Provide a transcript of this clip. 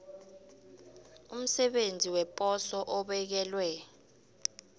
umsebenzi weposo obekelwe